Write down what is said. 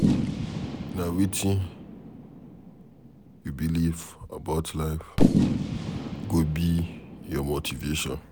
Nah Wetin you believe about life, go be your motivation